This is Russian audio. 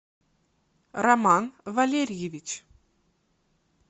роман валерьевич